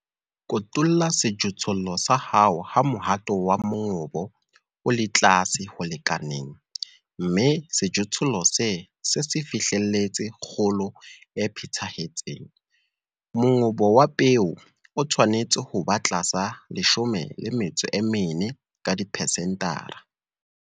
Kotula sejothollo sa hao ha mohato wa mongobo o le tlase ho lekaneng, mme sejothollo se se se fihlelletse kgolo e phethahetseng. Mongobo wa peo o tshwanetse hob a tlasa 14 ka dipesentara.